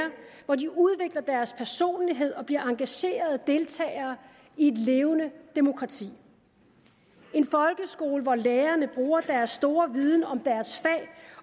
hvor de udvikler deres personlighed og bliver engagerede deltagere i et levende demokrati en folkeskole hvor lærerne bruger deres store viden om deres fag